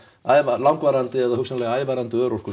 langvarandi eða hugsanlega ævarandi örorku